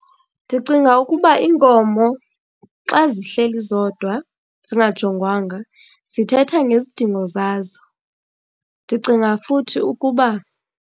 Ndicinga ukuba iinkomo xa zihleli zodwa zingajongwanga zithetha ngezidingo zazo, ndicinga futhi ukuba.